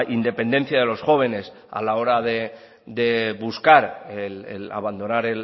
independencia de los jóvenes a la hora de buscar el abandonar